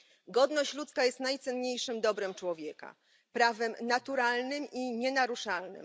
Godność ludzka jest najcenniejszym dobrem człowieka, prawem naturalnym i nienaruszalnym.